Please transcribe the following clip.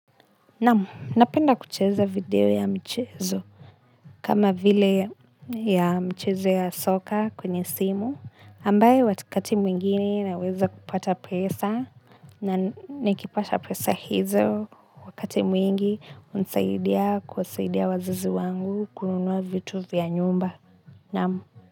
Napenda kucheza video ya mchezo kama vile ya mchezo ya soka kwenye simu ambayo wakati mwingine naweza kupata pesa na nikipata pesa hizo wakati mwingi hunisaidia kusaidia wazazi wangu kununua vitu vya nyumba.